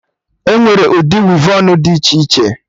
Enwere ụdị wevọnụ dị iche iche